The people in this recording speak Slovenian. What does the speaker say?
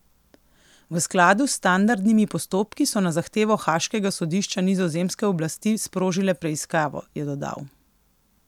V skladu s standardnimi postopki so na zahtevo haaškega sodišča nizozemske oblasti sprožile preiskavo, je dodal.